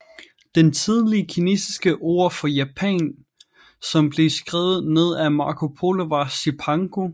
Det tidlige kinesiske ord for Japan som blev skrevet ned af Marco Polo var Cipangu